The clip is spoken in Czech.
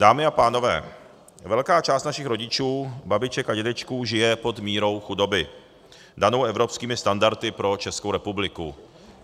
Dámy a pánové, velká část našich rodičů, babiček a dědečků žije pod mírou chudoby danou evropskými standardy pro Českou republiky.